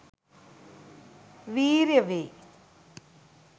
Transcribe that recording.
වීර්ය වේ.